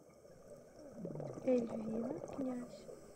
эльвина князь